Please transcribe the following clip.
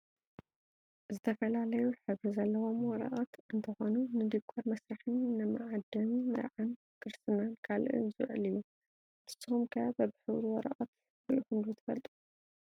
ዝተፈላለዩ ሕብሪ ዘለዎም ወረቀት እንትኮኑ ንዲኮር መስርሕን ንመዓደሚ መርዓን ክርስትናን ካልእን ዝውዕል እዩ። ንስኩም ከ በብሕብሩ ወረቀት ሪኢኩም ዶ ትፈልጡ?